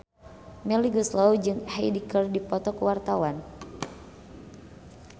Melly Goeslaw jeung Hyde keur dipoto ku wartawan